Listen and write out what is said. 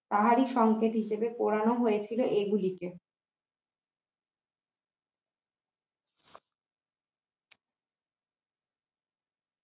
তাহারি সংকেত হিসাবে পোড়ানো হইয়াছিল এগুলোকে